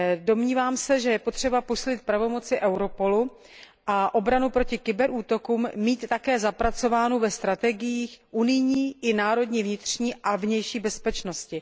Domnívám se, že je potřeba posílit pravomoci Europolu a obranu proti kybernetickým útokům mít také zapracovanou ve strategiích unijní i vnitrostátní vnitřní a vnější bezpečnosti.